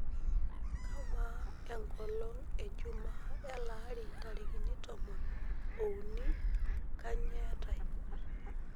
kaa maa engolong ejumaa eelari ntarikini tomon oouni kanyoo etae